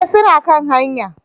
Eh suna kan hanya